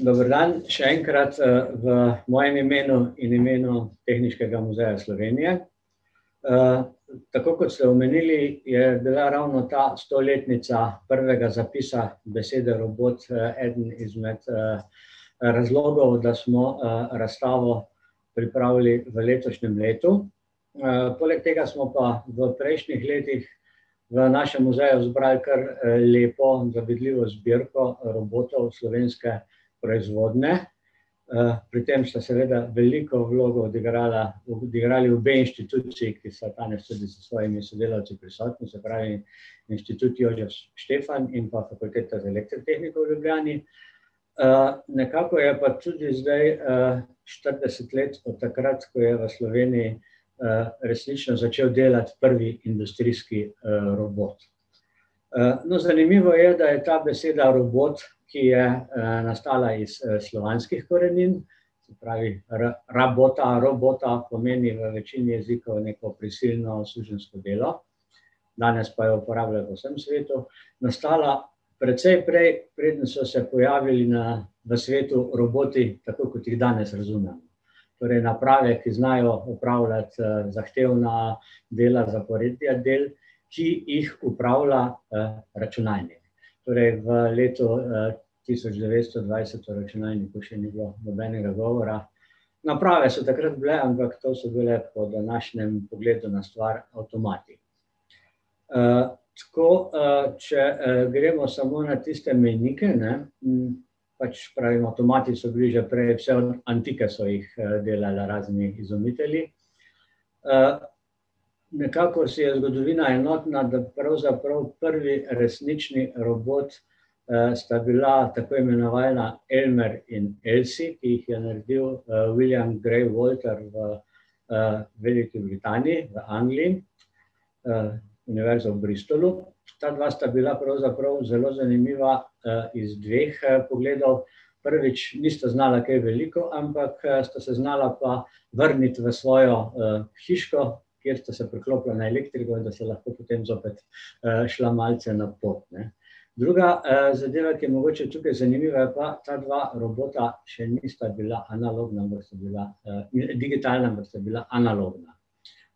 Dober dan še enkrat, v mojem imenu in imenu Tehniškega muzeja Slovenije. tako, kot ste omenili, je bila ravno ta stoletnica prvega zapisa besede robot, eden izmed, razlogov, da smo, razstavo pripravili v letošnjem letu, poleg tega smo pa v prejšnjih letih v našem muzeju zbrali kar, lepo, zavidljivo zbirko robotov slovenske proizvodnje. pri tem sta seveda veliko vlogo odigrala, odigrali obe inštituciji, ki sta danes tudi s svojimi sodelavci prisotni, se pravi Institut Jožef Stefan in pa Fakulteta za elektrotehniko v Ljubljani. nekako je pa tudi zdaj, štirideset let od takrat, ko je v Sloveniji, resnično začel delati prvi industrijski, robot. no, zanimivo je, da je ta beseda robot, ki je, nastala iz, slovanskih korenin, se pravi rabota, robota, pomeni v večini jezikov neko prisilno suženjsko delo, danes pa jo uporabljamo po vsem svetu, nastala precej prej, preden so se pojavili na, v svetu roboti tako, kot jih danes razumemo. Torej naprave, ki znajo upravljati, zahtevna dela, zaporedje del, ki jih upravlja, računalnik. Torej v letu, tisoč devetsto dvajset o računalniku še ni bilo nobenega govora. Naprave so takrat bile, ampak to so bile, v današnjem pogledu na stvar, avtomati. tako, če, gremo samo na tiste mejnike, ne. pač pravim, avtomati so bili že prej, vse od antike so jih, delali razni izumitelji. nekako si je zgodovina enotna, da pravzaprav prvi resnični robot, sta bila, tako imenovana Elmer in Elsie, ki ju je naredil, William Grey Walter v, Veliki Britaniji, v Angliji, Univerza v Bristolu. Ta dva sta bila pravzaprav zelo zanimiva, iz dveh, pogledov. Prvič, nista znala kaj veliko, ampak, sta se znala pa vrniti v svojo, hiško, kjer sta se priklopila na elektriko in da sta lahko potem zopet, šla malce na pot, ne. Druga, zadeva, ki je mogoče tukaj zanimiva je pa, ta dva robota še nista bila analogna, ampak sta bila, digitalna, ampak sta bila analogna.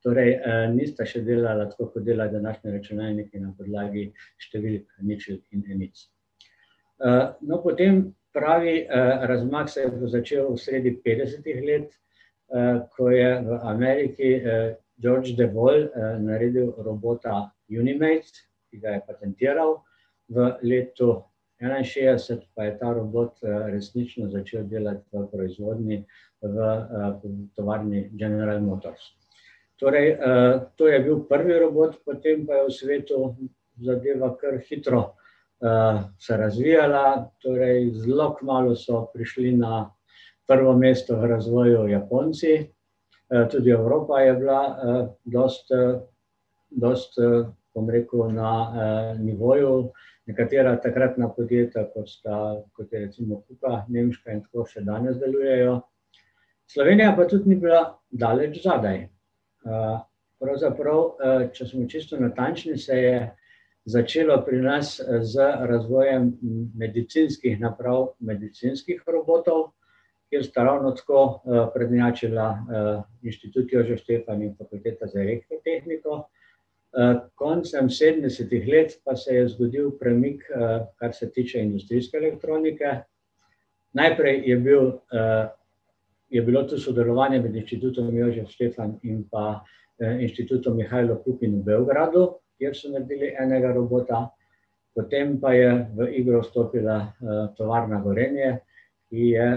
Torej, nista še delala tako, kot delajo današnji računalniki na podlagi številk, ničel in enic. no, potem, pravi, razmak se je začel sredi petdesetih let, ko je v Ameriki, George Devol, naredil robota Unimate, ki ga je patentiral, v letu enainšestdeset pa je ta robot, resnično začel delati v proizvodnji, v, tovarni General Motors. Torej, to je bil prvi robot, potem pa je v svetu zadeva kar hitro, se razvijala, torej zelo kmalu so prišli na prvo mesto v razvoju Japonci, tudi Evropa je bila, dosti, dosti, bom rekel, na, nivoju, nekatera takratna podjetja, kot sta, kot je recimo , nemška in tako, še danes delujejo. Slovenija pa tudi ni bila daleč zadaj. pravzaprav, če smo čisto natančni, se je začelo pri nas z razvojem medicinskih naprav, medicinskih robotov, kjer sta ravno tako, prednjačila, Institut Jožef Stefan in Fakulteta za elektrotehniko. koncem sedemdesetih let pa se je zgodil premik, kar se tiče industrijske elektronike. Najprej je bil, je bilo tu sodelovanje med Institutom Jožef Stefan in pa Inštitutom Mihajlo Pupin v Beogradu, kjer so naredili enega robota, potem pa je v igro stopila, tovarna Gorenje, ki je,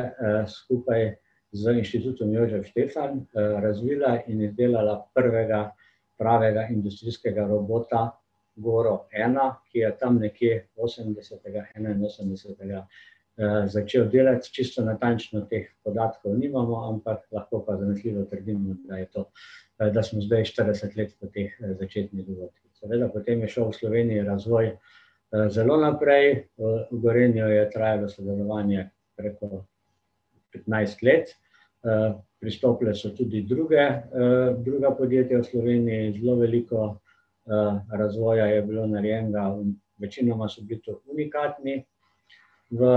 skupaj z Institutom Jožef Stefan, razvila in izdelala prvega pravega industrijskega robota, Goro ena, ki je tam nekje osemdesetega, enainosemdesetega začel delati, čisto natančno teh podatkov nimamo, lahko pa zanesljivo trdim, da je to, da smo zdaj štirideset let po teh, začetnih dogodkih. Seveda potem je šel v Sloveniji razvoj, zelo naprej, v Gorenju je trajalo sodelovanje preko petnajst let, pristopile so tudi druge, druga podjetja v Sloveniji, zelo veliko, razvoja je bilo narejenega, večinoma so to bili unikatni. V,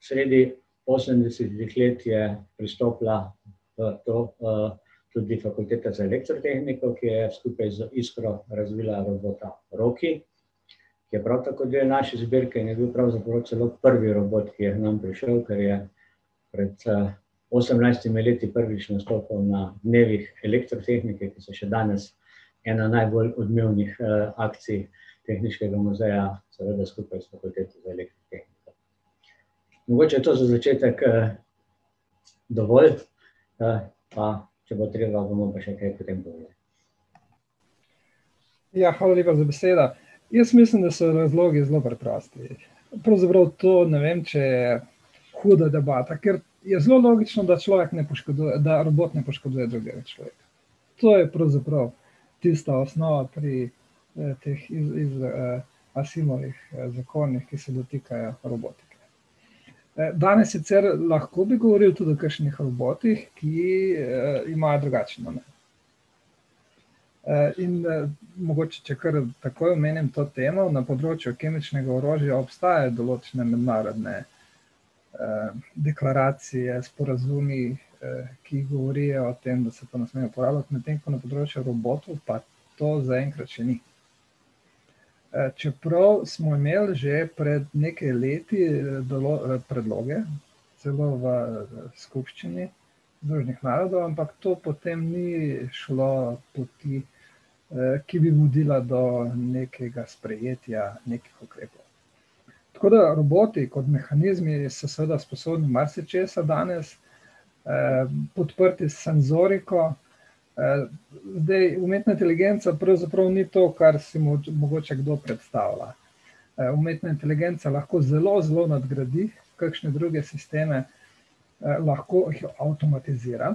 sredi osemdesetih let je pristopila v to, tudi Fakulteta za elektrotehniko, ki je skupaj z Iskro razvila robota Roki, ki je prav tako del naše zbirke in je bil pravzaprav celo prvi robot, ki je k nam prišel, ker je pred, osemnajstimi leti prvič nastopal na Dnevih elektrotehnike, ki so še danes ena najbolj odmevnih, akcij Tehniškega muzeja, seveda skupaj s Fakulteto za elektrotehniko. Mogoče to za začetek, dovolj, pa, če bo treba, bomo pa še kaj potem povedali. Ja, hvala lepa za besedo. Jaz mislim, da so razlogi zelo preprosti. Pravzaprav to ne vem, če je huda debata, ker je zelo logično, da človek ne da robot ne poškoduje drugega človeka. To je pravzaprav tista osnova pri, teh Asimovih zakonih, ki se dotikajo robotike. Danes sicer lahko bi govorili tudi o kakšnih robotih, ki, imajo drugačen namen. in, mogoče, če kar takoj omenim to temo na področju kemičnega orožja, obstajajo določene mednarodne, deklaracije, sporazumi, ki govorijo o tem, da se to ne sme uporabljati, medtem ko na področju robotov pa to zaenkrat še ni. čeprav smo imeli že pred nekaj leti, predloge celo v, skupščini Združenih narodov, ampak to potem ni šlo poti, ki bi vodila do nekega sprejetja nekih ukrepov. Tako da roboti kot mehanizmi so seveda sposobni marsičesa danes, podprti s senzoriko, zdaj umetna inteligenca pravzaprav ni to, kar si mogoče kdo predstavlja. umetna inteligenca lahko zelo, zelo nadgradi kakšne druge sisteme, lahko jih avtomatizira,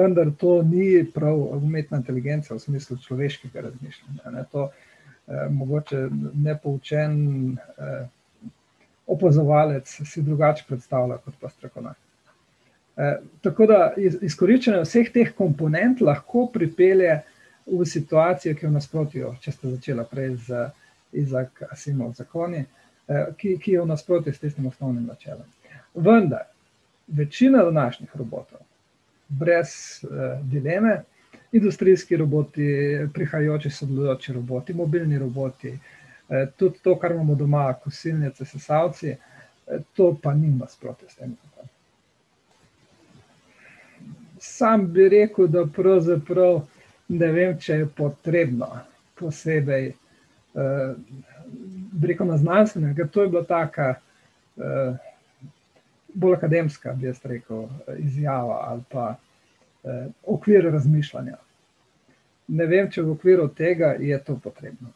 vendar to ni prav umetna inteligenca v smislu človeškega razmišljanja, ne, to, mogoče nepoučen, opazovalec si drugače predstavlja kot pa strokovnjak. tako da izkoriščanje vseh teh komponent lahko pripelje v situacijo, ki je v nasprotju, če ste začela prej z Isaac Asimov zakoni, ki, ki je v nasprotju s tistim osnovnim načelom. Vendar, večina današnjih robotov brez, dileme, industrijski roboti, prihajajoči, sodelujoči roboti, mobilni roboti, tudi to, kar imamo doma, kosilnice, sesalci, to pa s tem. Sam bi rekel, da pravzaprav ne vem, če je potrebno posebej, bi rekel ma znanstvenega, to je bolj taka, bolj akademska, bi jaz rekel, izjava ali pa, okvir razmišljanja. Ne vem, če v okviru tega je to potrebno.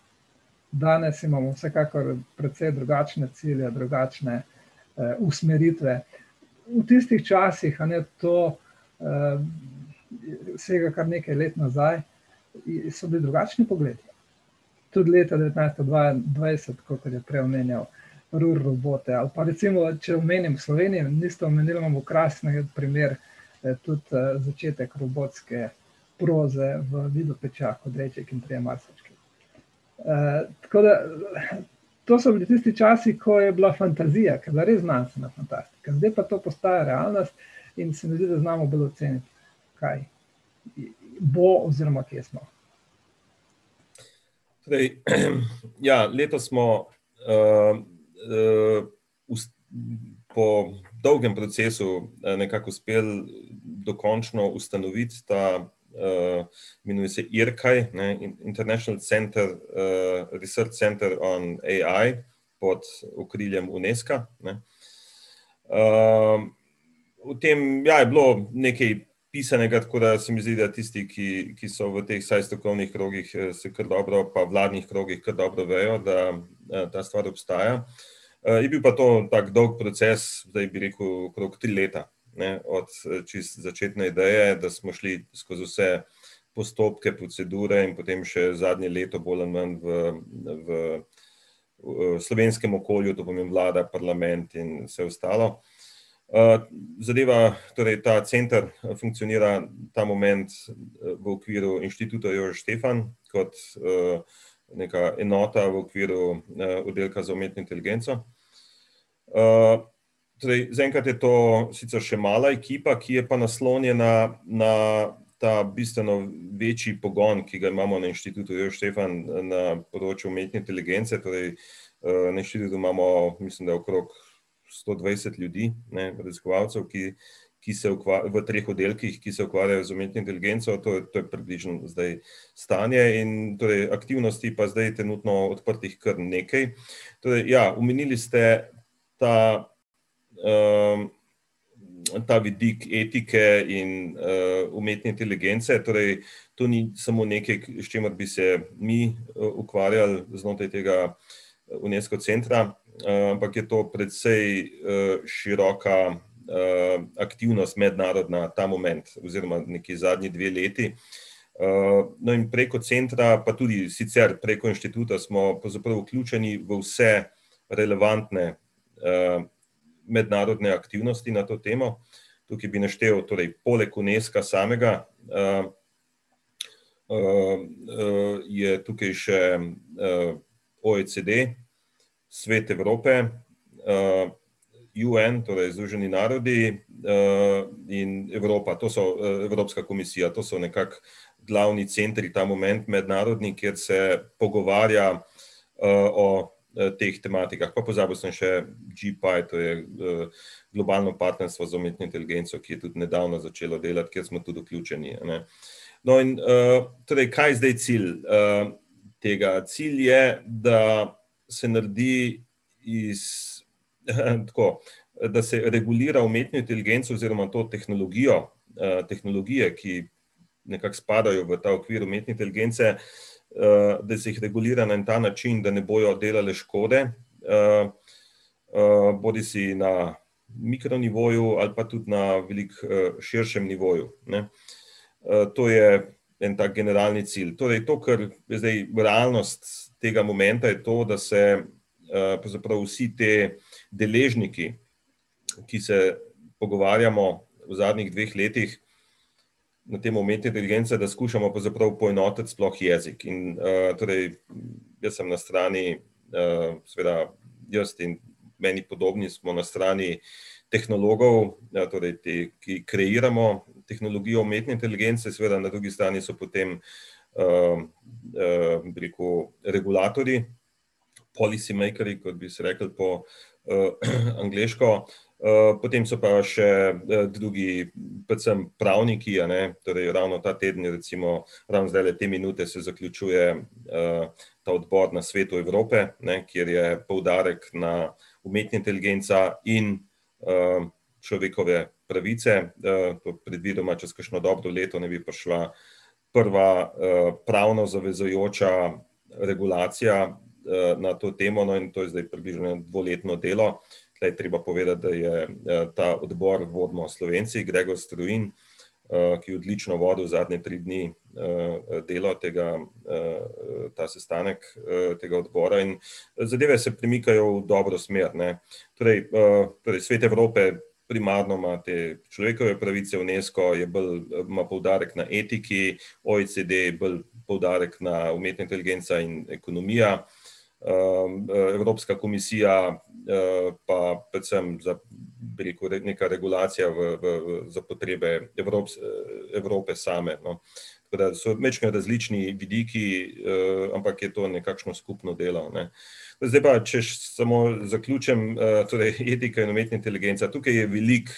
Danes imamo vsekakor precej drugačne cilje, drugačne, usmeritve. V tistih časih, a ne, to, sega kar nekaj let nazaj, so bili drugačni pogledi. Tudi leta devetnajststo dvaindvajset, tako kot je prej omenjal robote, ali pa recimo, če omenim Slovenijo, isto mi delamo, imamo krasen primer, tudi, začetek robotske proze v Videl Pečjaku, Drejček in trije Marsovčki. tako da, to so bili tisti časi, ko je bila fantazija, ko je bila res znanstvena fantasika, ker zdaj pa to postaja realnost, in se mi zdi, da znamo bolj oceniti kaj bo oziroma kje smo. Torej, ja, letos smo, po dolgem procesu nekako uspeli dokončno ustanoviti ta, imenuje se IRCAI, ne, International Center, Research Center on AI, pod okriljem Unesca, ne. o tem, ja, je bilo nekaj pisanega, tako da se mi zdi, da tisti, ki, ki so v teh, vsaj strokovnih krogih, se kar dobro, pa vladnih krogih, kar dobro vejo, da, ta stvar obstaja. je bil pa to tak dolg proces, zdaj bi rekel okrog tri leta, ne, od čisto začetne ideje, da smo šli skozi vse postopke, procedure in potem še zadnje leto bolj ali manj v, v slovenskem okolju, to pomeni vlada, parlament in vse ostalo. zadeva, torej ta center, funkcionira ta moment v okviru Instituta Jožef Stefan kot, neka enota v okviru, oddelka za umetno inteligenco. zdaj zaenkrat je to sicer še mala ekipa, ki je pa naslonjena na ta bistveno večji pogon, ki ga imamo na Institutu Jožef Stefan na področju umetne inteligence, torej, na inštitutu imamo, mislim, da okrog sto dvajset ljudi, ne, raziskovalcev, ki, ki se v treh oddelkih, ki se ukvarjajo z umetno inteligenco, to to je približno zdaj stanje in torej aktivnosti pa zdaj trenutno odprtih kar nekaj. Torej, ja, omenili ste ta, ta vidik etike in, umetne inteligence, torej to ni samo nekaj, s čimer bi se mi ukvarjali znotraj tega Unesco centra, ampak je to precej, široka aktivnost mednarodna ta moment, oziroma nekje zadnji dve leti. no, in preko centra pa tudi sicer preko inštituta, smo pravzaprav vključeni v vse relevantne, mednarodne aktivnosti na to temo, tukaj bi naštel, torej poleg Unesca samega, je tukaj še, OECD, Svet Evrope, UN, torej Združeni narodi, in Evropa, to so, Evropska komisija, to so nekako glavni centri ta moment mednarodni, kjer se pogovarja, o teh tematikah, pa pozabil sem še GPAI, to je, Globalno partnerstvo za umetno inteligenco, ki je tudi nedavno začelo delati, kjer smo tudi vključeni, a ne. No, in, torej kaj je zdaj cilj, tega. Cilj je, da se naredi iz, tako, da se regulira umetno inteligenco oziroma to tehnologijo, tehnologije, ki nekako spadajo v ta okvir umetne inteligence, da se jih regulira na en ta način, da ne bojo delale škode, bodisi na mikronivoju ali pa tudi na veliko, širšem nivoju, ne. to je en tak generalni cilj. Torej to, kar zdaj, realnost tega momenta je to, da se, pravzaprav vsi ti deležniki, ki se pogovarjamo v zadnjih dveh letih, na temo umetne inteligence, da skušamo pravzaprav poenotiti sploh jezik in, torej, jaz sem na strani, seveda, jaz in meni podobni, smo na strani tehnologov, torej ti, ki kreiramo tehnologijo umetne inteligence, seveda na drugi strani so potem, bi rekel, regulatorji, policy makerji, kot bi se reklo po, angleško, potem so pa še, drugi, predvsem pravniki, a ne, torej ravno ta teden je recimo, ravno zdajle te minute se zaključuje, ta odbor na Svetu Evrope, ne, kjer je poudarek na umetna inteligenca in, človekove pravice. predvidoma čez kakšno dobro leto naj bi prišla prva, pravno zavezujoča regulacija, na to temo, no, in to je zdaj približno dvoletno delo. Tule je treba povedati, da je, ta odbor vodimo Slovenci, Gregor Strojin, ki je odlično vodil zadnje tri dni, delo tega, ta sestanek, tega odbora in zadeve se premikajo v dobro smer, ne. Torej, torej Svet Evrope primarno ima te človekove pravice, Unesco je bolj, ima poudarek na etiki, OECD bolj poudarek na umetna inteligenca in ekonomija, Evropska komisija, pa predvsem bi rekel, da je neka regulacija v, v, za potrebe Evrope same, no. Tako da so majčkeno različni vidiki, ampak je to nekakšno skupno delo, ne. Zdaj pa če samo zaključim, torej etika in umetna inteligenca. Tukaj je veliko,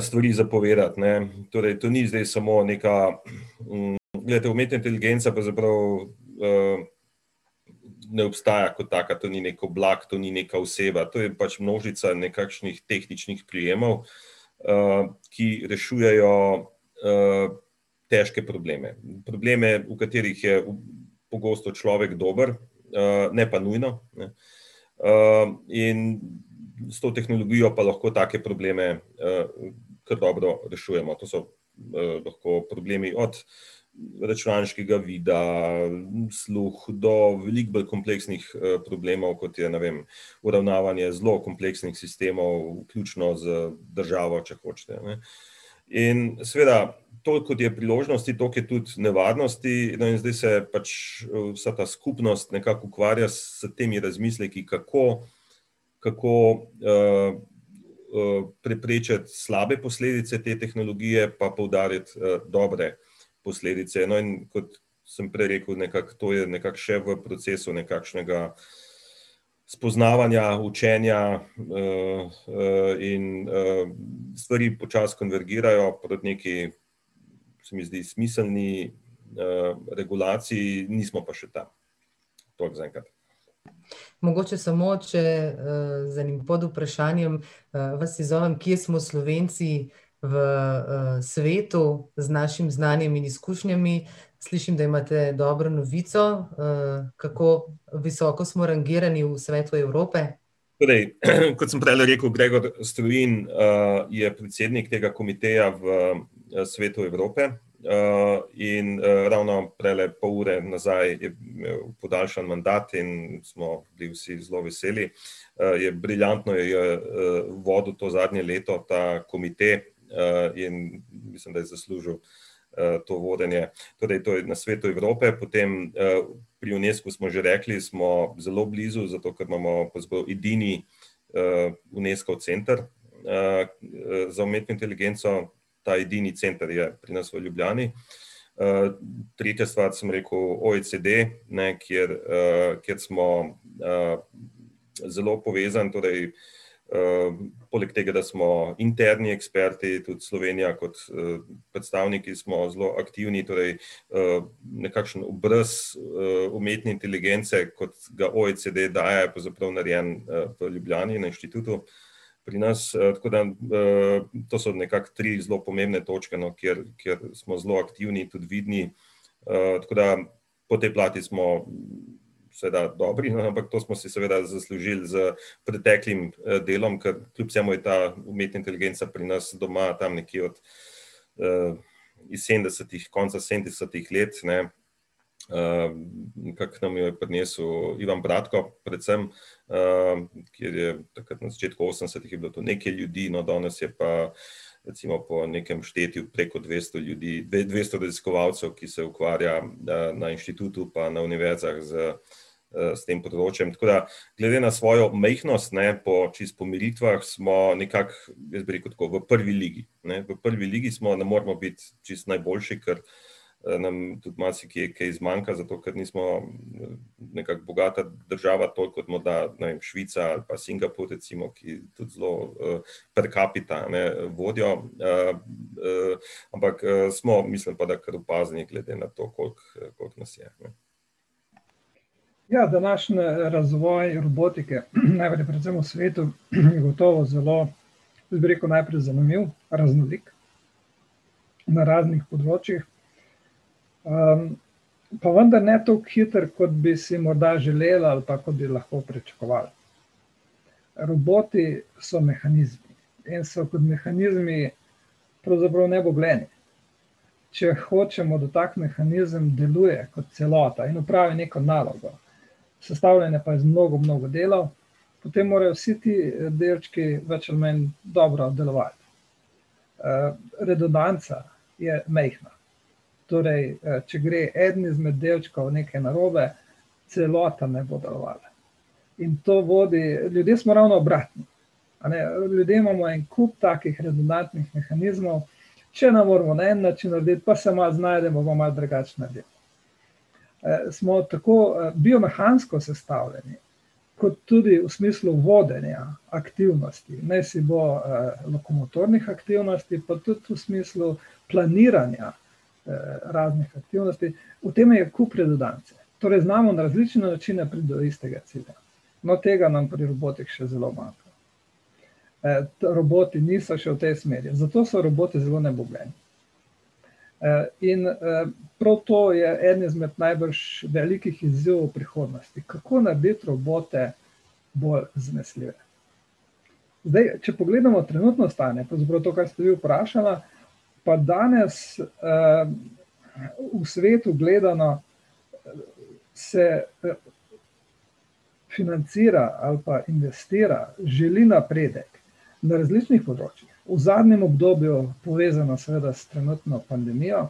stvari za povedati, ne. Torej to ni zdaj samo nekaj, glejte, umetna inteligenca pravzaprav, ne obstaja kot taka, to ni neki oblak, to ni neka oseba, to je pač množica nekakšnih tehničnih prijemov, ki rešujejo, težke probleme. Probleme, v katerih je pogosto človek dober, ne pa nujno, ne, in s to tehnologijo pa lahko take probleme, kar dobro rešujemo, to so, lahko problemi od računalniškega vida, sluh, do veliko bolj kompleksnih, problemov kot je, ne vem, uravnavanje zelo kompleksnih sistemov, vključno z državo, če hočete, ne. In seveda, toliko, kot je priložnosti, toliko je tudi nevarnosti, ne vem, zdaj se pač vsa ta skupnost nekako ukvarja s temi razmisleki, kako, kako, preprečiti slabe posledice te tehnologije pa poudariti, dobre posledice. No, in kot sem prej rekel nekako, to je nekako še v procesu nekakšnega spoznavanja, učenja, in, stvari počasi konvergirajo proti neki, se mi zdi, smiselni, regulaciji, nismo pa še tam. Toliko zaenkrat. Torej, kot sem prejle rekel, Gregor Strojin, je predsednik tega komiteja v Svetu Evrope, in, ravno prejle, pol ure nazaj, je imel podaljšan mandat in smo bili vsi zelo veseli, je briljantno, vodil to zadnje leto ta komite, in mislim, da je zaslužil, to vodenje. Torej to je na Svetu Evrope, potem, pri Unescu smo že rekli, smo zelo blizu, zato ker imamo pravzaprav edini, Unescov center, za umetno inteligenco, ta edini center je pri nas v Ljubljani. tretja stvar sem rekel OECD, ne, ki, kjer smo, zelo povezani, torej, poleg tega, da smo interni eksperti, tudi Slovenija kot, predstavnik in smo zelo aktivni, torej, nekakšen obraz, umetne inteligence, kot ga OECD daje, je pravzaprav narejen v Ljubljani, na inštitutu pri nas. Tako da, to so nekako tri zelo pomembne točke, no, kjer, kjer smo zelo aktivni, tudi vidni, tako da po tej plati smo seveda dobri, ampak to smo si seveda zaslužili s preteklim, delom, kar kljub vsemu je ta umetna inteligenca pri nas doma tam nekje od, iz sedemdesetih, konca sedemdesetih let, ne. nekako nam jo je prinesel Ivan Bratko, predvsem, kjer je takrat na začetku osemdesetih je bilo to nekaj ljudi, no danes je pa recimo po nekem štetju preko dvesto ljudi, dvesto raziskovalcev, ki se ukvarja, da na inštitutu pa na univerzah z, s tem področjem. Tako da, glede na svojo majhnost, ne, po čisto po meritvah, smo nekako, jaz bi rekel tako, v prvi ligi, ne. V prvi ligi smo, ne moremo biti čisto najboljši, ker, nam tudi marsikje kaj zmanjka, zato ker nismo nekako bogata država, toliko kot morda, ne vem, Švica ali pa Singapur, recimo, ki tudi zelo, per capita, a ne, vodijo, Ampak, smo, mislim, da kar opazni glede na to, koliko, koliko nas je, ne. Ja, današnji razvoj robotike, najprej predvsem v svetu, gotovo zelo, jaz bi najprej rekel zanimiv, raznolik na raznih področjih. pa vendar ne toliko hiter, kot bi si morda želeli ali pa kot bi lahko pričakovali. Roboti so mehanizmi in so kot mehanizmi pravzaprav nebogljeni. Če hočemo, da tako mehanizem deluje kot celota in opravi neko nalogo, sestavljen je pa iz mnogo, mnogo delov, potem morajo vsi ti delčki več ali manj dobro delovati. redundanca je majhna. Torej, če gre eden izmed delčkov nekaj narobe, celota ne bo delovala. In to vodi, ljudje smo ravno obratni, a ne, ljudje imamo en kup takih redundantnih mehanizmov, če ne moremo na en način narediti, pa se malo znajdemo pa malo drugače naredimo. smo tako, biomehansko sestavljeni kot tudi v smislu vodenja, aktivnosti, naj si bo, aktivnosti pa tudi v smislu planiranja, raznih aktivnosti. V tem je kup redundance. Torej znamo na različne načine priti do istega cilja. No, tega nam pri robotiki še zelo manjka. roboti niso še v tej smeri, zato so roboti zelo nebogljeni. in, prav to je en izmed najbrž velikih izzivov v prihodnosti, kako narediti robote bolj zanesljive. Zdaj, če pogledamo trenutno stanje, pravzaprav to, kar ste vi vprašala, pa danes, v svetu gledano se financira ali pa investira, želi napredek na različnih področjih. V zadnjem obdobju, povezano seveda s trenutno epidemijo,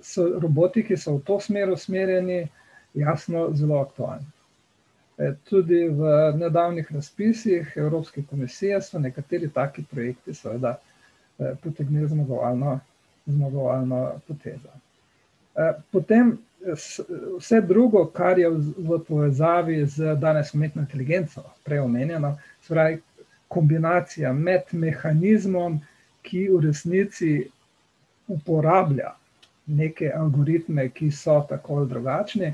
so roboti, ki so v to smer usmerjeni, jasno zelo aktualni. tudi v nedavnih razpisih Evropske komisije, so nekateri taki projekti seveda, potegnili zmagovalno, zmagovalno potezo. potem vse drugo, kar je v povezavi z danes umetno inteligenco, prej omenjeno, se pravi, kombinacija med mehanizmom, ki v resnici uporablja neke algoritme, ki so tako ali drugačni.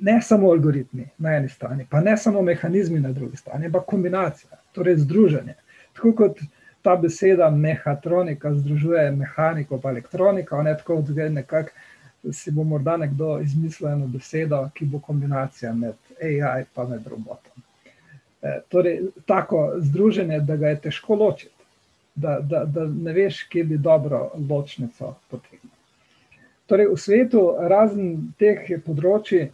Ne samo algoritmi na eni strani, pa ne samo mehanizmi na drugi strani, ampak kombinacija, torej združenje. Tako kot ta beseda, mehatronika, združuje mehaniko pa elektroniko, a ne, tako , nekako si bo morda nekdo izmislil eno besedo, ki bo kombinacija med AI pa med robotom. torej tako združenje, da ga je težko ločiti, da, da, da ne veš, kje bi dobro ločnico potegnil. Torej v svetu razen teh področij,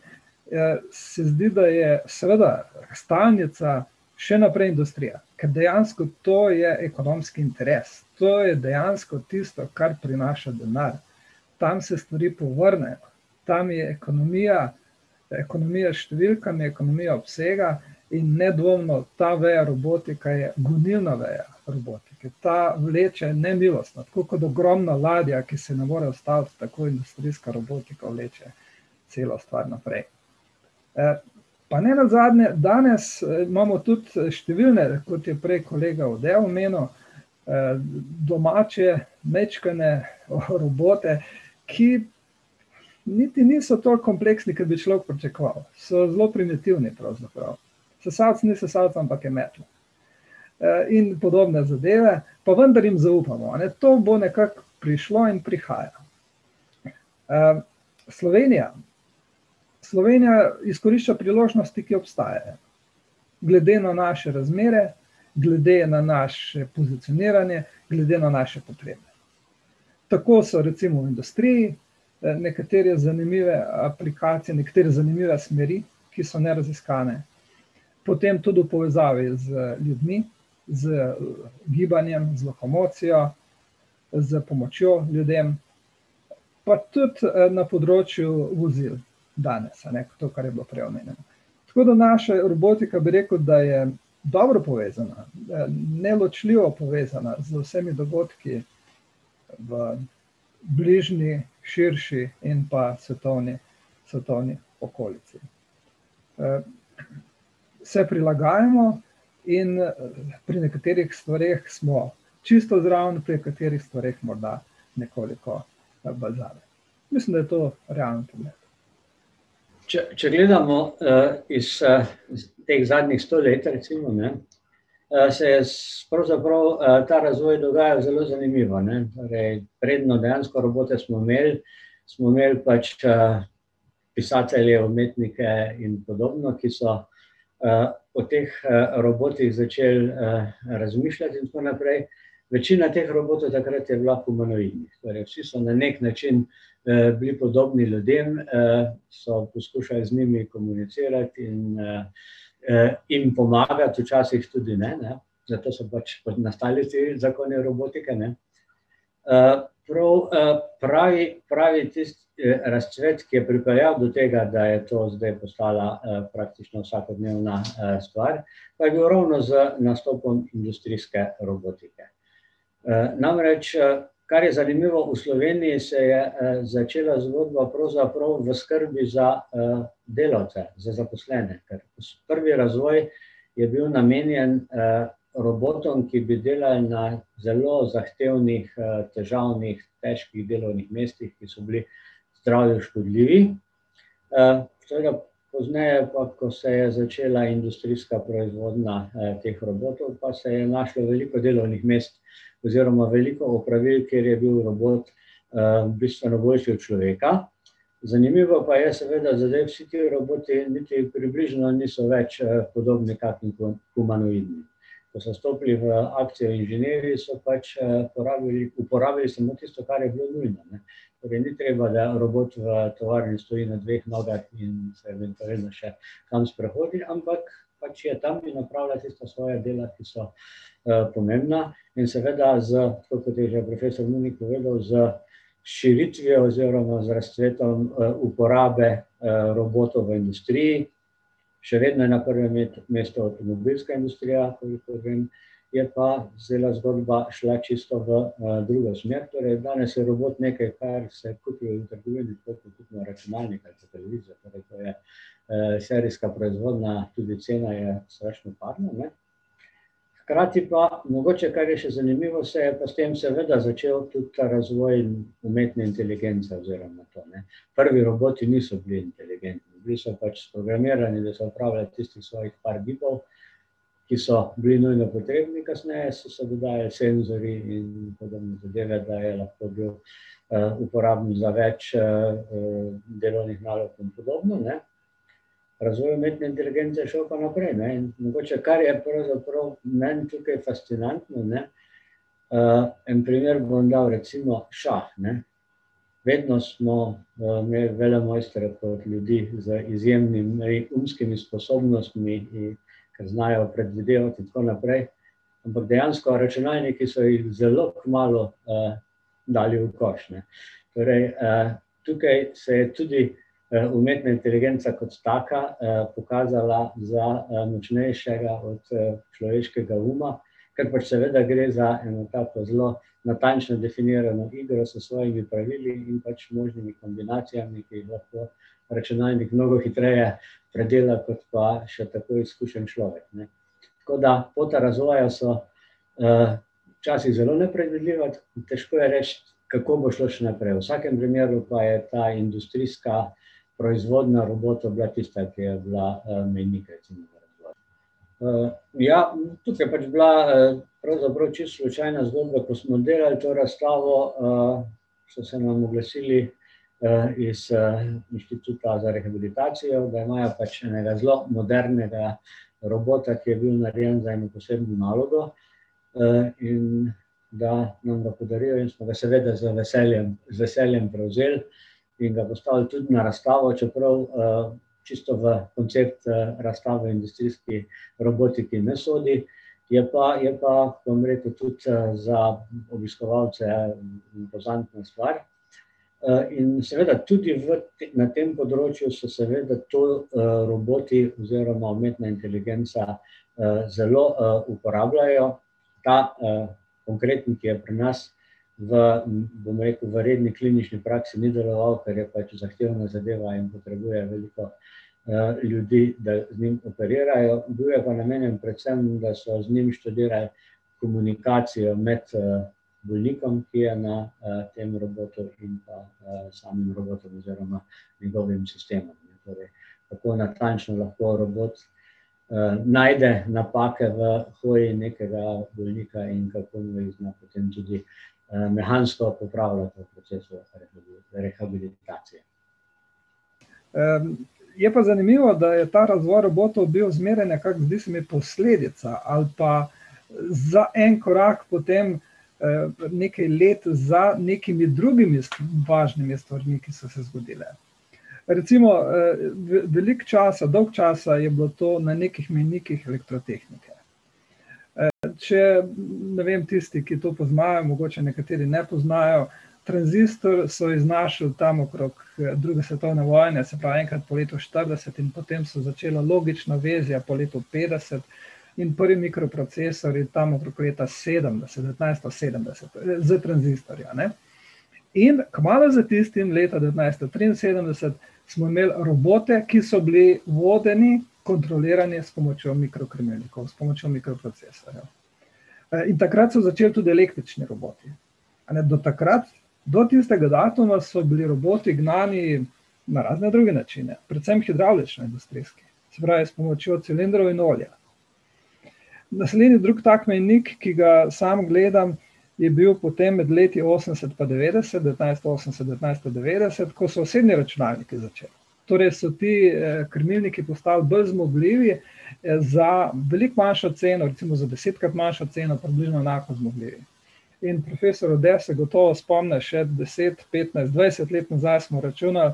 se zdi, da je seveda stalnica še naprej industrija, ker dejansko to je ekonomski interes, to je dejansko tisto, kar prinaša denar, tam se stvari povrnejo, tam je ekonomija, ekonomija s številkami, ekonomija obsega in nedvomno ta veja robotike je gonilna veja robotike. Ta vleče nemilostno, tako kot ogromna ladja, ki se ne more ustaviti, tako industrijska robotika vleče celo stvar naprej. pa nenazadnje danes imamo tudi številne, kot je prej kolega Ude omenil, domače, majčkene robote, ki niti niso toliko kompleksni, ke bi človek pričakoval, so zelo primitivni pravzaprav. Sesalec ni sesalec, ampak je metla. in podobne zadeve, pa vendar jim zaupamo, a ne, to bo nekako prišlo in prihaja. Slovenija, Slovenija izkorišča priložnosti, ki obstajajo glede na naše razmere, glede na naše pozicioniranje, glede na naše potrebe. Tako so recimo v industriji, nekatere zanimive aplikacije, nekatere zanimive smeri, ki so neraziskane. Potem tudi v povezavi z ljudmi, z gibanjem, z lokomocijo, s pomočjo ljudem, pa tudi na področju vozil, danes, a ne, to, kar je bilo prej omenjeno. Tako da naša robotika, bi rekel, da je dobro povezana, neločljivo povezana z vsemi dogodki v bližnji, širši in pa svetovni, svetovni okolici. se prilagajamo in pri nekaterih stvareh smo čisto zraven, pri nekaterih stvareh morda nekoliko bolj zadaj. Mislim, da je to realen problem. Če, če gledamo, iz, teh zadnjih sto let recimo, ne, se pravzaprav, ta razvoj dogaja zelo zanimivo, ne. Torej preden dejansko robote smo imeli, smo imeli pač pisatelje, umetnike in podobno, ki so, o teh, robotih začeli, razmišljati in tako naprej, večina teh robotov takrat je bila , torej vsi so na neki način, bili podobni ljudem, so poskušali z njimi komunicirati in, jim pomagati, včasih tudi ne, ne. Zato so pač tudi nastali ti zakoni robotike, ne. prav, pravi, pravi tisti, razcvet je pripeljal do tega, da je to zdaj postala, praktično vsakodnevna, stvar, ogromno z nastopom industrijske robotike. namreč, kar je zanimivo v Sloveniji, se je, začela zgodba pravzaprav v skrbi za, delavce, za zaposlene, ker prvi razvoj je bil namenjen, robotom, ki bi delali na zelo zahtevnih, težavnih, težkih delovnih mestih, ki so bili zdravju škodljivi. seveda pozneje pa, ko se je začela industrijska proizvodnja, teh robotov, pa se je našlo veliko delovnih mest, oziroma veliko opravil, kjer je bil robot, bistveno boljši od človeka. Zanimivo pa je seveda za roboti niti približno niso več, podobni . Ko so stopili v akcijo inženirji, so pač, porabili, uporabili samo tisto, kar je bilo nujno, ne. Torej ni treba, da robot v tovarni stoji na dveh nogah in se eventuelno še kam sprehodi, ampak pač je tam in opravlja tista svoja dela, ki so, pomembna in seveda z, tako kot je že profesor Munih povedal, s širitvijo oziroma z razcvetom, uporabe, robotov v industriji, še vedno je na prvem mestu avtomobilska industrija, kolikor vem, je pa cela zgodba šla čisto v, drugo smer, torej danes je robot nekaj, kar se kupi v trgovini, računalnik, televizor, , serijska proizvodnja, tudi cena je , ne. Hkrati pa, mogoče, kar je še zanimivo, se je pa s tem seveda začel tudi razvoj umetne inteligence, oziroma to, ne, prvi roboti niso bili inteligentni, bili so pač sprogramirani, da so opravljali tistih svojih par gibov, ki so bili nujno potrebni, kasneje so se dodajali senzorji in podobne zadeve, da je lahko bil, uporaben za več, delovnih nalog in podobno, ne. Razvoj umetne inteligence je šel pa naprej, ne, in mogoče, kar je pravzaprav meni tukaj fascinantno, ne, en primer bom dal, recimo šah, ne. Vedno smo imeli velemojstre kot ljudi z izjemnimi umskimi sposobnostmi, ke znajo predvidevati in tako naprej, ampak dejansko računalniki so jih zelo kmalu, dali v koš, ne. Torej, tukaj se je tudi, umetna inteligenca kot taka, pokazala za močnejšega od, človeškega uma, ker pač seveda gre za eno tako zelo natančno definirano igro s svojimi pravili in pač možnimi kombinacijami, ki jih lahko računalnik mnogo hitreje predela kot pa še tako izkušen človek, ne. Tako da, pota razvoja so, včasih zelo nepredvidljiva, težko je reči, kako bo šlo še naprej, v vsakem primeru pa je ta industrijska proizvodnja robotov bila tista, ki je bila, mejnik recimo za razvoj. ja, tudi je pač bila, pravzaprav čisto slučajna zgodba, ko smo delali to razstavo, so se nam oglasili, iz, Inštituta za rehabilitacijo, da imajo pač enega zelo modernega robota, ki je bil narejen za eno posebno nalogo, in, da nam ga podarijo, in smo ga seveda z veseljem, z veseljem prevzeli in ga postavili tudi na razstavo, čeprav, čisto v koncept, razstave industrijske robotike ne sodi, je pa, je pa, bom rekel tudi, za obiskovalce stvar. in seveda, tudi v, na tem področju se seveda to, roboti oziroma umetna inteligenca, zelo, uporabljajo. Ta, konkreten, ki je pri nas, v, bom rekel v redni klinični praksi ni deloval, ker je pač zahtevna zadeva in potrebuje veliko, ljudi, da z njim operirajo, bil je pa namenjen predvsem, da so z njim študirali komunikacijo med, bolnikom, ki je na, tem robotu in pa, samim robotom oziroma njegovim sistemom, torej, kako natančno lahko robot, najde napake v nekega bolnika in kako jih zna potem tudi, mehansko popravljati v procesu rehabilitacije. je pa zanimivo, da je ta razvoj robotov del zmeraj nekako posledica ali pa za en korak potem, nekaj let za nekimi drugimi važnimi stvarmi, ki so se zgodile. Recimo, veliko časa, dolgo časa je bilo to na nekih mejnikih elektrotehnike. če ne vem, tisti, ki to poznajo, mogoče nekateri ne poznajo, tranzistor so iznašli tam okrog, druge svetovne vojne, se pravi enkrat po letu štirideset in potem so začela logična vezja po letu petdeset in prvi mikroprocesorji tam okrog leta sedemdeset, devetnajststo sedemdeset, s tranzistorji, a ne. In kmalu za tistim, leta devetnajsto triinsedemdeset, smo imeli robote, ki so bili vodeni, kontrolirani s pomočjo mikrokrmilnikov, s pomočjo mikroprocesorjev. in takrat so začeli tudi električni roboti, a ne. Do takrat, do tistega datuma, so bili roboti gnani na razne druge načine, predvsem hidravlično-industrijski, se pravi s pomočjo cilindrov in olja. Naslednji drug tak mejnik, ki ga sam gledam, je bil potem med leti osemdeset pa devetdeset, devetnajststo osemdeset, devetnajststo devetdeset, ko so osebni računalniki začeli. Torej so ti, krmilniki postal bolj zmogljivi za velik manjšo ceno, recimo za desetkrat manjšo ceno približno enako zmogljivi. In profesor Ude se gotovo spomni še, deset, petnajst, dvajset let nazaj, smo računali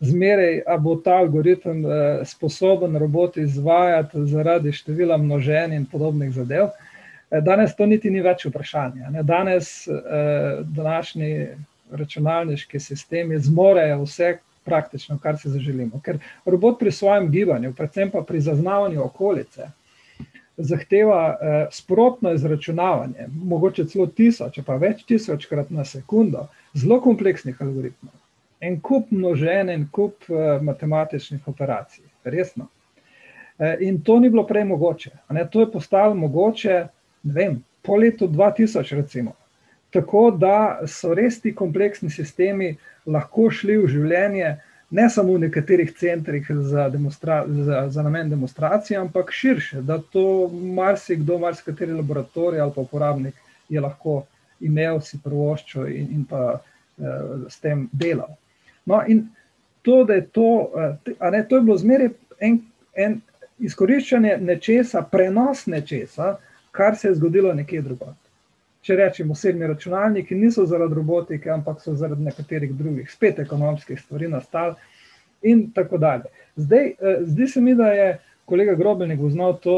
zmeraj ali bo ta algoritem, sposoben robot izvajati zaradi števila množenj in podobnih zadev. Danes to niti ni več vprašanje, a ne, danes, današnji računalniški sistemi zmorejo vse praktično, kar si zaželimo, ker robot pri svojem bivanju, predvsem pa pri zaznavanju okolice zahteva, sprotno izračunavanje, mogoče celo tisoč ali pa več tisočkrat na sekundo, zelo kompleksnih algoritmov, en kup , en kup, matematičnih operacij resno. in to ni bilo prej mogoče, a ne, to je postalo mogoče, ne vem, po letu dva tisoč, recimo. Tako da so res ti kompleksni sistemi lahko šli v življenje ne samo v nekaterih centrih za za namen demonstracije, ampak širše, da to marsikdo, marsikateri laboratorij ali pa uporabnik je lahko imel, si privoščil in pa, s tem dela. No, in to, da je to, a ne, to je bilo zmeraj en, en, izkoriščanje nečesa, prenos nečesa, kar se je zgodilo nekje drugod. Če rečem osebni računalnik in niso zaradi robotike, ampak so zaradi nekaterih drugih, spet ekonomskih stvari nastali in tako dalje. Zdaj, zdi se mi, da je, kolega Grobelnik bo znal to,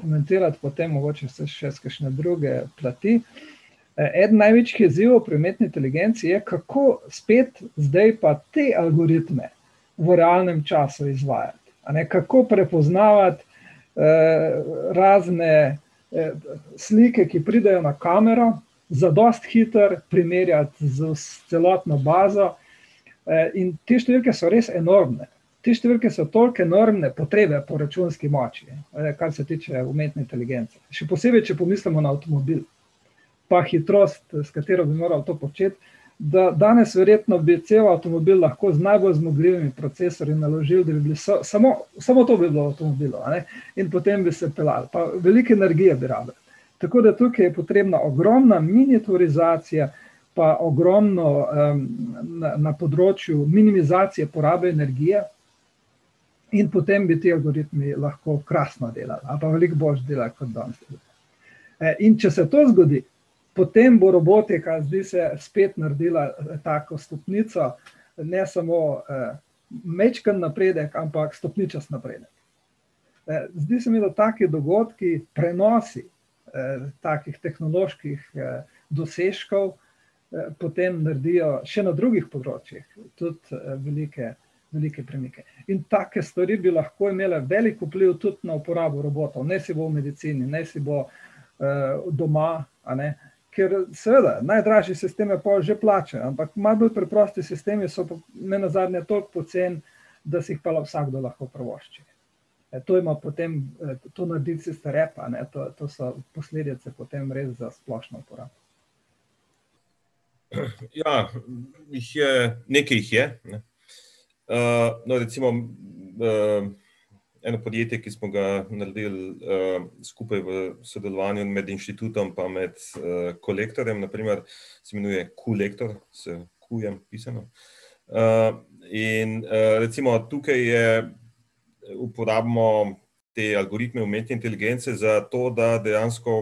komentirati potem mogoče še s kakšne druge plati, eden največjih izzivov pri umetni inteligenci je, kako zdaj spet pa te algoritme v realnem času izvajati, a ne, kako prepoznavati, razne, slike, ki pridejo na kamero, zadosti hitro primerjati s celotno bazo, in te številke so res enormne, te številke so toliko enormne potrebe po računski moči, a ne, kar se tiče umetne inteligence, še posebej, če pomislimo na avtomobile. Pa hitrost, s katero bi moral to početi, da danes verjetno bi cel avtomobil lahko z najbolj zmogljivimi procesorji naložil, da bi bili samo, samo to bi bilo v avtomobilu, a ne, in potem bi se peljali, pa veliko energije bi rabili. Tako da tukaj je potrebna ogromna miniaturizacija pa ogromno, na področju minimizacije porabe energije in potem bi ti algoritmi lahko krasno delali, ampak veliko boljše delajo kot danes. in če se to zgodi, potem bo robotika, zdi se, spet naredila tako stopnico, ne samo, majčken napredek, ampak stopničasti napredek. zdi se mi, da taki dogodki, prenosi, takih tehnoloških, dosežkov, potem naredijo še na drugih področjih, tudi, velike, velike premike. Take stvari bi lahko imele velik vpliv tudi na uporabo robotov, naj si bo v medicini, naj si bo, doma, a ne. Ker, seveda, najdražje sisteme pol že plačajo, ampak malo bolj preprosti sistemi so pa nenazadnje tako poceni, da si jih pa lahko vsakdo lahko privošči. To ima potem, to naredi , a ne, to so posledice potem res za splošno uporabo. ja, jih je, nekaj jih je, ne. no, recimo, eno podjetje, ki smo ga naredili, skupaj v sodelovanju med inštitutom pa med, Kolektorjem, na primer, se imenuje Qulektor, s q-jem, pisano. in, recimo, tukaj je, uporabimo te algoritme umetne inteligence za to, da dejansko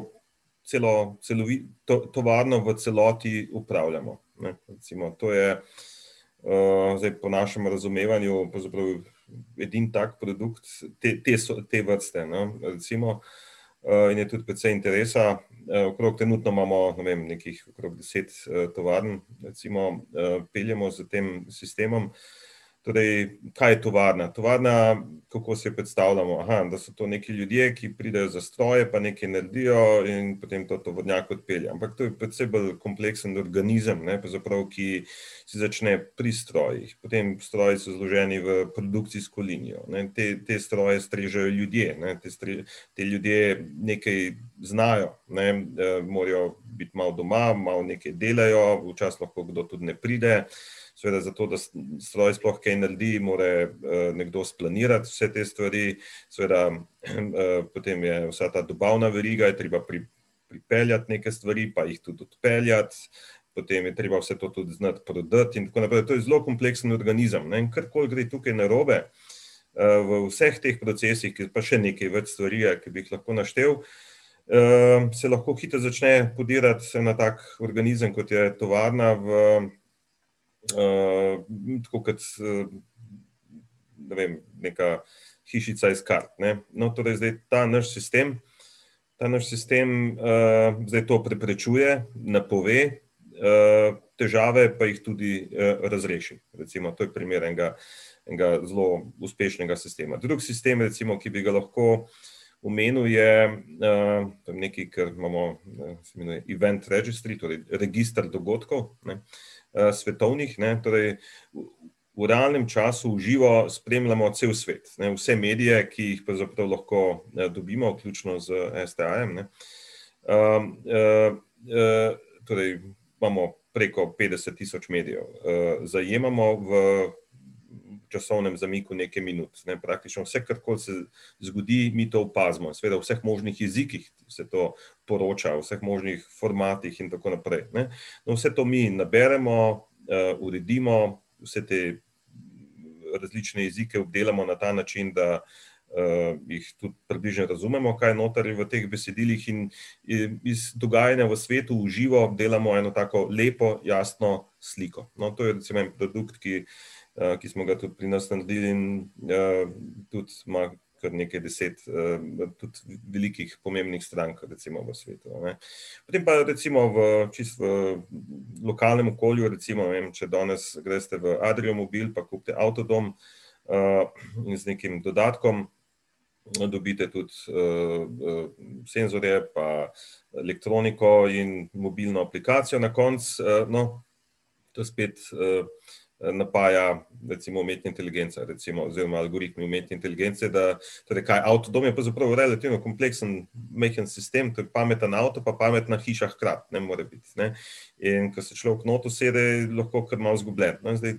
tovarno v celoti upravljamo, ne. Recimo to je, zdaj po našem razumevanju pravzaprav edini tak produkt, te, te te vrste, no, recimo. in je tudi precej interesa, okrog, trenutno imamo, ne vem, nekih okrog deset, tovarn, recimo, peljemo s tem sistemom. Torej, kaj je tovarna? Tovarna, kako si predstavljamo, da so to neki ljudje, ki pridejo za stroje pa nekaj naredijo, in potem to tovornjak odpelje, ampak to je precej bolj kompleksen organizem, ne, pravzaprav, ki se začne pri strojih, potem stroji so zloženi v produkcijsko linijo, ne, te, te stroje strežejo ljudje, ne, te ti ljudje nekaj znajo, ne, morajo biti malo doma, malo nekaj delajo, včasih lahko kdo tudi ne pride. Seveda za to, da stroj sploh kaj naredi, more, nekdo splanirati vse te stvari, seveda, potem je vsa ta dobavna veriga, je tudi treba pripeljati neke stvari pa jih tudi odpeljati, potem je treba vse to tudi znati prodati in tako naprej, to je zelo kompleksen organizem, ne, in karkoli gre tukaj narobe, v vseh teh procesih, ki, pa še nekaj, več stvari je, ke bi jih lahko naštel. se lahko hitro začne podirati, se na tak organizem, kot je tovarna v, tako kot, ne vem, neka hišica iz kart, ne. No, torej, zdaj ta naš sistem, ta naš sistem, zdaj to preprečuje, napove, težave pa jih tudi, razreši, recimo to je primer enega, enega zelo uspešnega sistema. Drug sistem recimo, ki bi ga lahko omenil, je, nekaj, kar imamo, se imenuje Event Registry, torej Register dogodkov, ne, svetovnih, ne, torej v realnem času v živo spremljamo cel svet, ne, vse medije, ki jih pravzaprav lahko dobimo, vključno s STA-jem, ne. torej imamo preko petdeset tisoč medijev, zajemamo v časovnem zamiku nekaj minut, ne, praktično vse, karkoli se zgodi, mi to opazimo, seveda v vseh možnih jezikih se to poroča, v vseh možnih formatih in tako naprej, ne. No, vse to mi naberemo, uredimo, vse te različne jezike obdelamo na ta način, da, jih tudi približno razumemo, kaj je noter v teh besedilih in iz dogajanja v svetu v živo delamo eno tako lepo, jasno sliko. No, to je recimo en produkt, ki ki smo ga tudi pri nas naredili in, tudi ma kar nekaj deset, tudi velikih, pomembnih strank recimo v svetu, ne. Potem pa recimo v, čisto v lokalnem okolju, recimo, ne vem, če danes greste v Adrio Mobil pa kupite avtodom, z nekim dodatkom, dobite tudi, senzorje pa elektroniko in mobilno aplikacijo, na koncu, no, to spet, napaja recimo umetno inteligenco, recimo algoritmi umetne inteligence, da torej, kaj, avtodom je pravzaprav relativno kompleksen, majhen sistem kot pametni avto pa pametna hiša hkrati ne more biti, ne. In ko se človek not usede, je lahko kar malo izgubljen. No, in zdaj,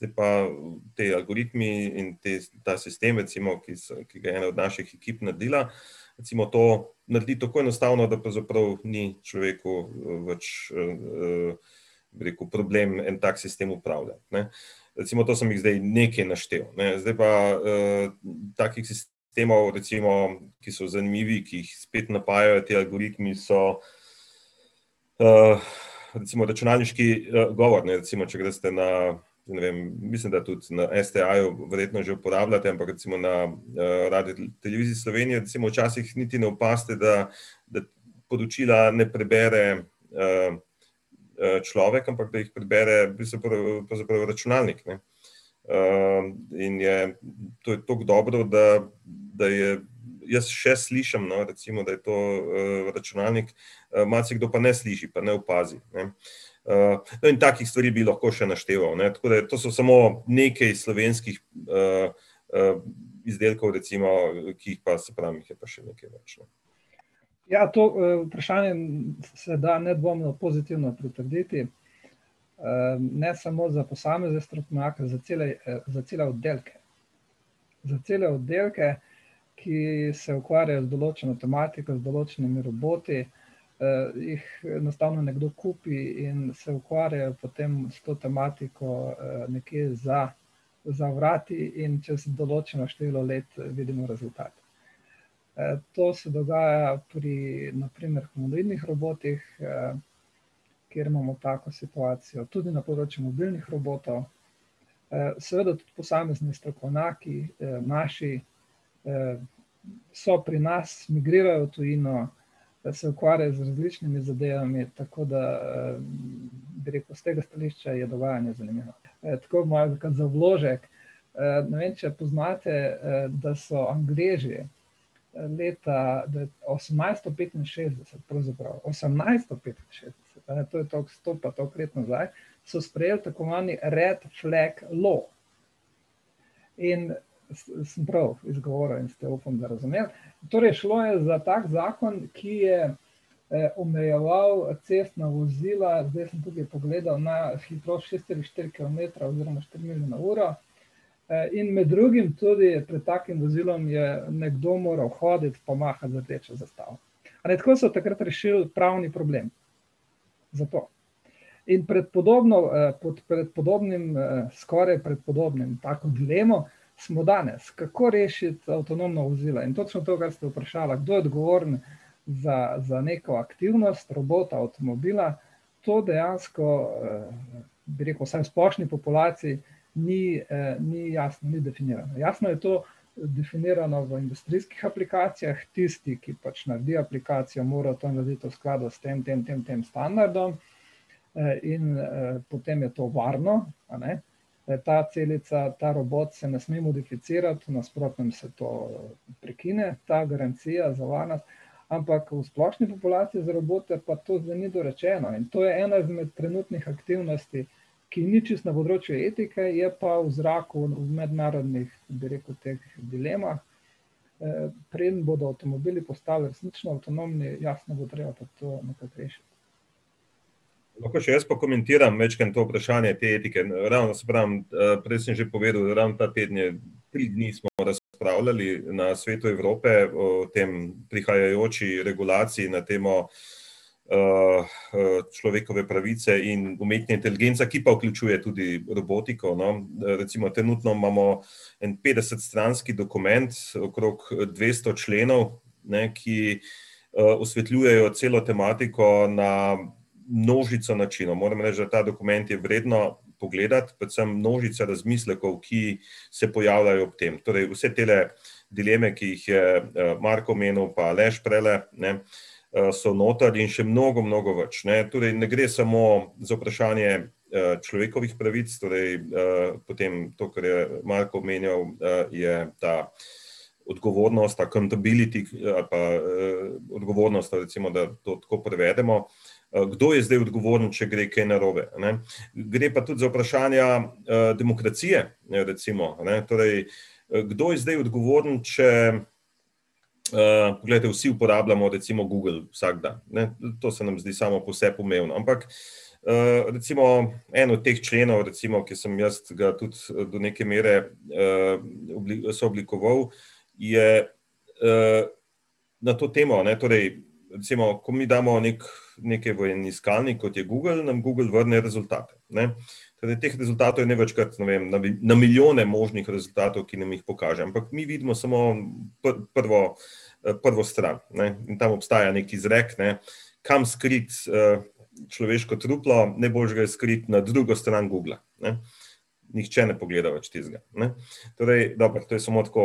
zdaj pa ti algoritmi in te, ta sistem recimo, ki ki ga je ena od naših ekip naredila, recimo to naredi tako enostavno, da pravzaprav ni človeku, več, bi rekel problem en tak sistem upravljati, ne. Recimo to sem jih zdaj nekaj naštel, ne, zdaj pa, takih sistemov recimo, ki so zanimivi, ki jih spet napajajo ti algoritmi, so, recimo računalniški, govor, ne, recimo, če greste na, ne vem, mislim, da tudi na STA-ju verjetno že uporabljate ali pa recimo na, Televiziji Sloveniji včasih niti ne opazite, da poročila ne prebere, ampak da jih prebere v bistvu pravzaprav računalnik, ne. in je, to je tako dobro, da, da je, jaz še slišim, no, recimo, da je to, računalnik, marsikdo pa ne sliši pa ne opazi, ne. ne vem, takih stvari bi lahko še našteval, ne, tako da to so samo nekaj slovenskih, izdelkov recimo, ki jih pa, saj pravim, jih je pa še nekaj več. Ja, to, vprašanje se da nedvomno pozitivno pritrditi. ne samo za posamezne strokovnjake, za cele, za cele oddelke. Za cele oddelke, ki se ukvarjajo z določeno tematiko, določenimi roboti, jih, enostavno nekdo kupi in se ukvarjajo potem s to tematiko, nekje za, za vrati in čez določeno število let vidimo rezultat. to se dogaja pri na primer hibridnih robotih, kjer imamo tako situacijo, tudi na področju mobilnih robotov. seveda tudi posamezni strokovnjaki naši, so pri nas, migrirajo v tujino, se ukvarjajo z različnimi zadevami, tako da, bi rekel, s tega stališča je dogajanje zanimivo. tako malo kot za vložek. ne vem če poznate, da so Angleži leta osemnajststo petinšestdeset pravzaprav, osemnajststo petinšestdeset, a ne, to je toliko pa toliko let nazaj, so sprejeli tako imenovani red flag law. In, sem prav izgovoril in ste upam, da razumeli. Torej šlo je za tak zakon, ki je, omejeval cestna vozila, zdaj sem tukaj pogledal, na hitrost šest celih štiri kilometra oziroma štiri milje na uro, in med drugim tudi pred takim vozilom je nekdo moral hoditi pa mahati z rdečo zastavo. A ne, tako so takrat rešili pravni problem. Zato. In pred podobno, pred podobnim, skoraj pred podobnim, tako dilemo, smo danes. Kako rešiti avtonomna vozila in točno to, kar ste vprašala, kdo je odgovoren za, za neko aktivnost robota od mobila? To dejansko, bi rekel vsaj splošni populaciji, ni, ni jasno, ni definirano. Jasno je to, definirano v industrijskih aplikacijah, tisti, ki pač naredi aplikacijo, mora to narediti v skladu s tem, tem, tem, tem standardom, in, potem je to varno, a ne, ta celica, ta robot se ne sme modificirati, v nasprotnem se to prekine, ta garancija za varnost. Ampak v splošni populaciji za robote pa to zdaj ni dorečeno in to je ena izmed trenutnih aktivnosti, ki ni čisto na področju etike, je pa v zraku v mednarodnih, bi rekel, teh dilemah. preden bodo avtomobili postali resnično avtonomni, jasno bo treba pa to nekako rešiti. Lahko še jaz pokomentiram majčkeno to vprašanje te etike. Ravno, saj pravim, prej sem že povedal, ravno ta teden je, tri dni smo razpravljali na Svetu Evrope o tem, prihajajoči regulaciji, na temo, človekove pravice in umetne inteligence, ki pa vključuje tudi robotiko, no. Recimo trenutno imamo en petdesetstranski dokument, okrog dvesto členov, ne, ki, osvetljujejo celo tematiko na množico načinov. Moram reči, da ta dokument je vredno pogledati, predvsem množica razmislekov, ki se pojavljajo ob tem, torej vse tele dileme, ki jih je, Marko omenil pa Aleš prejle, ne, so noter in še mnogo, mnogo več, ne. Torej ne gre samo za vprašanje, človekovih pravic, torej, potem to, kar je Marko omenjal, je ta odgovornost, ali pa, odgovornost, recimo, da tako prevedemo. kdo je zdaj odgovoren, če gre kaj narobe, ne? Gre pa tudi za vprašanja, demokracije, recimo, a ne, torej kdo je zdaj odgovoren, če ... glejte, vsi uporabljamo recimo Google vsak dan, ne, to se nam zdi samo po sebi umevno, ampak, recimo en od teh členov recimo, ki sem jaz ga tudi do neke mere, sooblikoval, je, na to temo, a ne, torej recimo, ko mi damo nek, nekaj v en iskalnik, kot je Google, nam Google vrne rezultat, ne. Tako da teh rezultatov je največkrat, ne vem, na milijone možnih rezultatov, ki nam jih pokaže, ampak mi vidimo samo prvo, prvo stran, ne. In tam obstaja en izrek, ne, kam skriti, človeško truplo? Najboljše ga je skriti na drugo stran Googla, ne, nihče ne pogleda več tistega, ne. Torej, dobro, to je samo tako,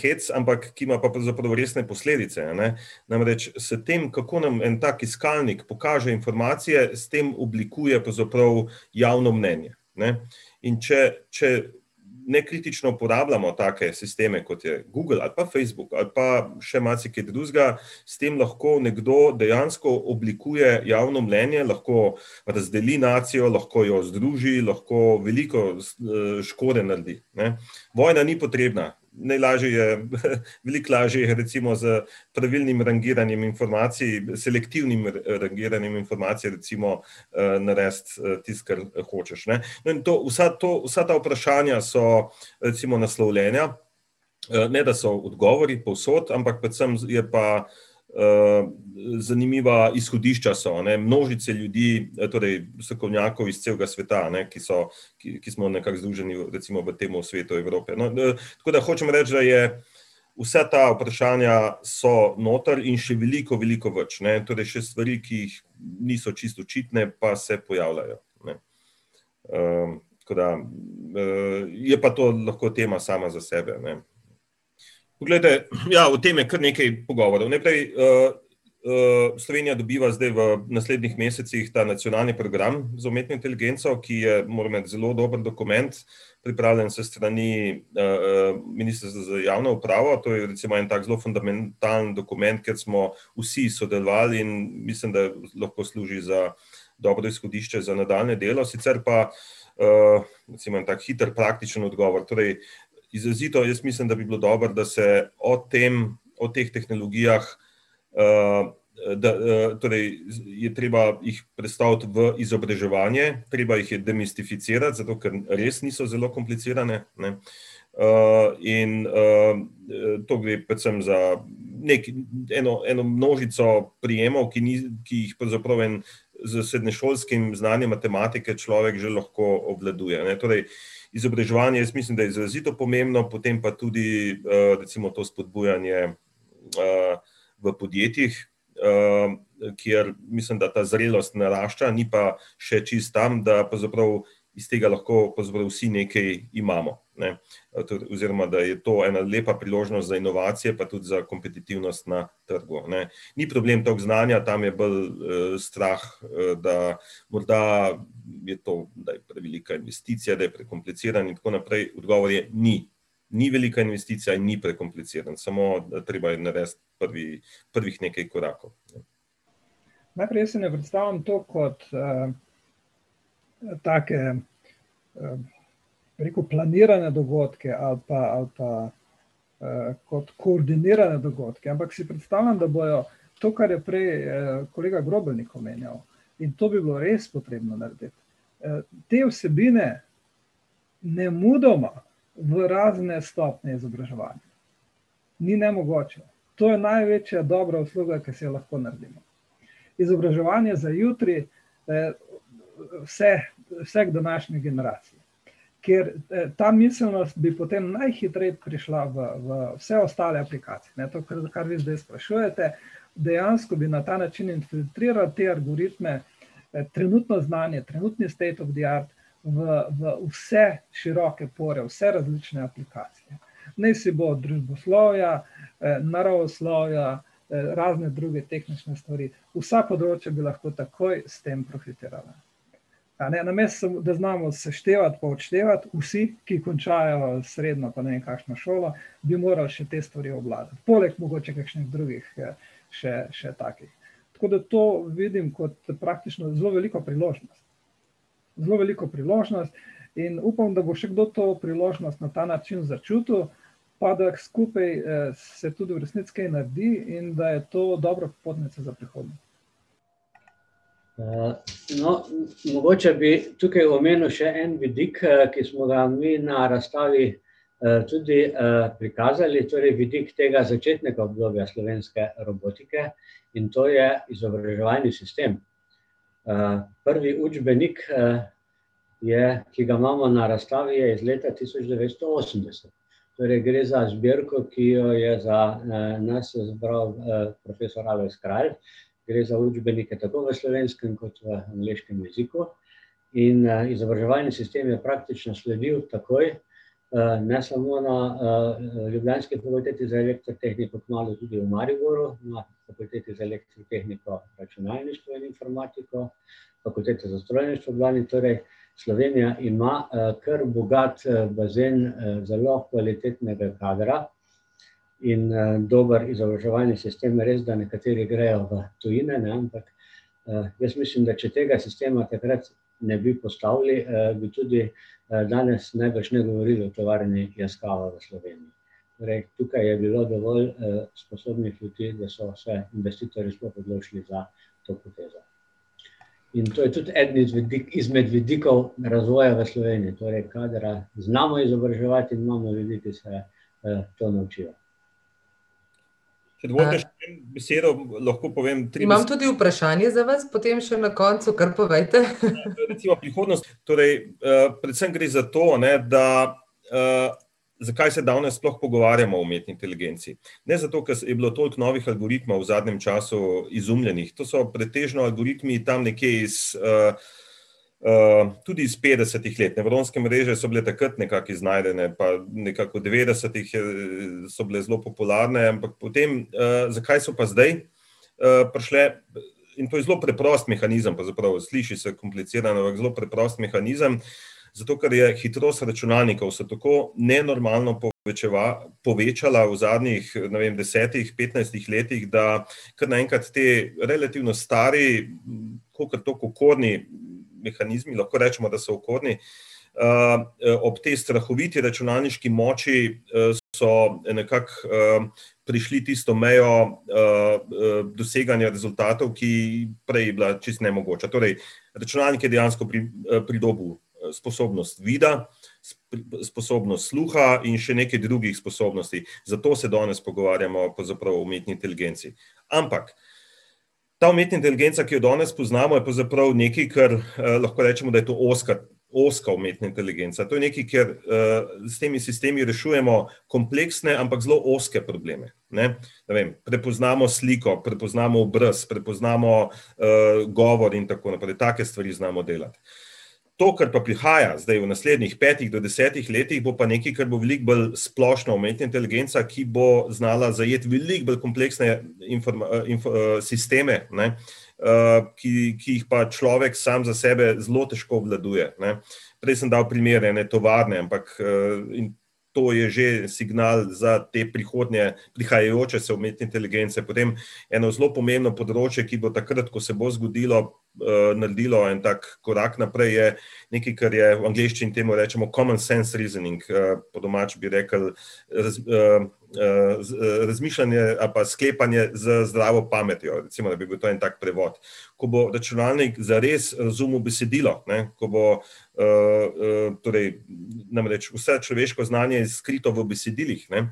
hec, ampak, ki ima pravzaprav resne posledice, a ne. Namreč s tem, kako nam en tak iskalnik pokaže informacije, s tem oblikuje pravzaprav javno mnenje, ne. In če, če nekritično uporabljamo take sisteme, kot je Google ali pa Facebook ali pa še marsikaj drugega, s tem lahko nekdo dejansko oblikuje javno mnenje, lahko razdeli nacijo, lahko jo združi, lahko veliko škode naredi, ne. Vojna ni potrebna, najlažje je , veliko lažje je recimo s pravilnim rangiranjem informacij, s selektivnim rangiranjem informacij recimo, narediti, tisto, kar hočeš, ne. Ne vem, to, vsa to, vsa ta vprašanja so recimo naslovljena, ne da so odgovori povsod, ampak predvsem je pa, zanimiva izhodišča so, a ne, množice ljudi, torej strokovnjakov iz celega sveta, a ne, ki so, ki smo nekako združeni v recimo v tem Svetu Evrope. No, tako da hočem reči, da je, vsa ta vprašanja so noter in še veliko, veliko več, ne, torej še stvari, ki jih niso čisto očitne pa se pojavljajo, ne. tako da, je pa lahko to tema sama za sebe, ne. Poglejte, ja, v tem je kar nekaj pogovorov. Najprej, Slovenija dobiva zdaj v naslednjih mesecih ta nacionalni program za umetno inteligenco, ki je, moram reči, zelo dober dokument, pripravljen s strani, Ministrstva za javno upravo, to je recimo en tak zelo fundamentalen dokument, ker smo vsi sodelovali, in mislim, da lahko služi za dobro izhodišče za nadaljnje delo. Sicer pa, recimo en tak hiter praktičen odgovor. Torej, izrazito jaz mislim, da bi bilo dobro, da se o tem, o teh tehnologijah, da, torej je treba jih prestaviti v izobraževanje, treba jih je demistificirati, zato ker res niso zelo komplicirane, ne, in, to gre predvsem za eno množico prijemov, ki ki je pravzaprav en s srednješolskim znanjem matematike človek že lahko obvladuje, ne. Torej, izobraževanje jaz mislim, da je izrazito pomembno, potem pa tudi, recimo to spodbujanje, v podjetjih, kjer mislim, da ta zrelost narašča, ni pa še čisto tam, da pravzaprav iz tega lahko pravzaprav vsi nekaj imamo, ne, oziroma da je to ena lepa priložnost za inovacije pa tudi za kompetitivnost na trgu, ne. Ni problem toliko znanja, tam je bolj, strah, da morda je to, da je prevelika investicija, da je prekomplicirano in tako naprej, odgovor je: ni. Ni velika investicija in ni prekomplicirano, samo treba je narediti prvi, prvih nekaj korakov. Najprej, jaz si ne predstavljam to kot, take, bi rekel, planirane ali pa, ali pa, kot koordinirane dogodke, ampak si predstavljam, da bojo to, kar je prej, kolega Grobelnik omenjal, in to bi bilo res potrebno narediti. te vsebine nemudoma v razne stopnje izobraževanja, ni nemogoče. To je največja dobra usluga, ke si jo lahko naredimo. Izobraževanje za jutri, vse, vseh današnjih generacij. Ker ta miselnost bi potem najhitreje prišla v, v vse ostale aplikacije, ne, to, kar vi zdaj sprašujete, dejansko bi na ta način infiltrirali te algoritme. Trenutno znanje, trenutni state of the art v, v vse široke pore, vse različne aplikacije, naj si bo družboslovja, naravoslovja, razne druge tehnične stvari, vsa področja bi lahko takoj s tem profitirala, a ne. Namesto da znamo seštevati pa odštevati vsi, ki končajo srednjo pa ne vem kakšno šolo, bi morali še te stvari obvladati, poleg mogoče kakšnih drugih, še, še takih. Tako da to vidim kot praktično zelo veliko priložnost, zelo veliko priložnost in upam, da bo še kdo to priložnost na ta način začutil pa da skupaj, se tudi v resnici kaj naredi in da je to dobra popotnica za prihodnost. no, mogoče bi tukaj omenil še en vidik, ki smo ga mi na razstavi, tudi, prikazali. Torej vidik tega začetnega obdobja slovenske robotike in to je izobraževalni sistem. prvi učbenik, je, ki ga imamo na razstavi, je iz leta tisoč devetsto osemdeset, torej gre za zbirko, ki jo je za nas zbral, profesor Alojz Kralj. Gre za učbenike tako v slovenskem kot v angleškem jeziku. In, izobraževalni sistem je praktično sledil takoj, ne samo na, ljubljanski Fakulteti za elektrotehniko, kmalu tudi v Mariboru na Fakulteti za elektrotehniko, računalništvo in informatiko, Fakulteto za strojništvo v Ljubljani, torej Slovenija ima, kar bogat, bazen, zelo kvalitetnega kadra in, dobro izobraževalni sistem, resda nekateri grejo v tujine, ne, ampak, jaz mislim, da če tega sistema takrat ne bi postavili, bi tudi, danes najbrž ne govorili o tovarni v Sloveniji. Torej, tukaj je bilo dovolj, sposobnih ljudi, da so se investitorji sploh odločili za to potezo. In to je tudi eden izmed, izmed vidikov razvoja v Sloveniji, torej kadra znamo izobraževati in imamo ljudi, ki se, to naučijo. Če dovoliš meni besedo, lahko povem tri ... Recimo prihodnost, torej, predvsem gre za to, da, zakaj se danes sploh pogovarjamo o umetni inteligenci. Ne zato, ker je bilo toliko novih algoritmov v zadnjem času izumljenih, to so pretežno algoritmi tam nekje iz, tudi iz petdesetih let, nevronske mreže so bile takrat nekako iznajdene pa nekako v devetdesetih, so bile zelo popularne, ampak potem, zakaj so pa zdaj, prišle. In to je zelo preprost mehanizem pravzaprav, sliši se komplicirano, ampak zelo preprost mehanizem. Zato ker je hitrost računalnikov se tako nenormalno povečala, ne vem, v zadnjih desetih, petnajstih letih, da kar naenkrat ti relativno stari, kolikor toliko okorni mehanizmi, lahko rečemo, da so okorni, ob tej strahoviti računalniški moči, so nekako, prišli tisto mejo, doseganja rezultatov, ki prej je bila čisto nemogoča. Torej, računalnik je dejansko pridobil sposobnost vida, sposobnost sluha in še nekaj drugih sposobnosti, zato se danes pogovarjamo pravzaprav o umetni inteligenci. Ampak, ta umetna inteligenca, ki jo danes poznamo, je pravzaprav nekaj, kar, lahko rečemo, da je to ozka, ozka umetna inteligenca. To je nekaj, kar, s temi sistemi rešujemo kompleksne, ampak zelo ozke probleme, ne. Ne vem, prepoznamo sliko, prepoznamo obraz, prepoznamo, govor in tako naprej, take stvari znamo delati. To, kar pa prihaja zdaj v naslednjih petih do desetih letih, bo pa nekaj, kar bo veliko bolj splošna umetna inteligenca, ki bo znala zajeti veliko bolj kompleksne sisteme, ne, ki, ki jih pa človek sam za sebe zelo težko obvladuje, ne. Prej sem dal primer ene tovarne, ampak, in to je že signal za te prihodnje, prihajajoče se umetne inteligence, potem eno zelo pomembno področje, ki bo takrat, ko se bo zgodilo, naredilo en tak naprej, je, nekaj, kar je, v angleščini temu rečemo common sense reasoning, po domače bi rekli, razmišljanje ali pa sklepanje z zdravo pametjo, recimo, da bi bil to en tak prevod. Ko bo računalnik zares razumel besedilo, ne, ko bo, torej ... Namreč vse človeško znanje je skrito v besedilih, ne,